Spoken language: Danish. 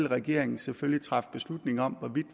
regeringen selvfølgelig træffe beslutning om hvorvidt